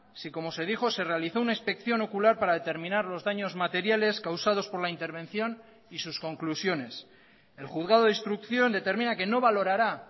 si como se dijo se realizó una inspección ocular para determinar los daños materiales causados por la intervención y sus conclusiones el juzgado de instrucción determina que no valorará